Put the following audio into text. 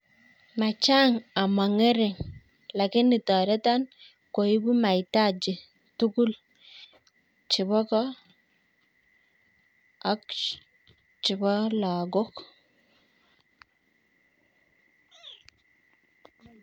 Machang amangere lakini tareton koibu maitaji tugul chebo ko AK chebo logok ?